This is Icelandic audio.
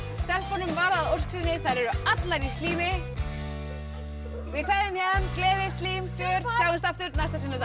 stelpunum varð að ósk sinni þær eru allar í slími við kveðjum héðan gleði slím fjör sjáumst aftur næsta sunnudag